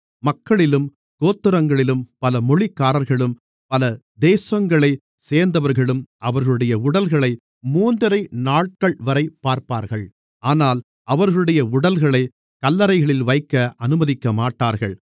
மக்களிலும் கோத்திரங்களிலும் பல மொழிக்காரர்களும் பல தேசங்களைச் சேர்ந்தவர்களும் அவர்களுடைய உடல்களை மூன்றரை நாட்கள்வரை பார்ப்பார்கள் ஆனால் அவர்களுடைய உடல்களைக் கல்லறைகளில் வைக்க அனுமதிக்கமாட்டார்கள்